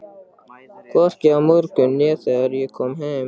Hvorki í morgun né þegar ég kom heim.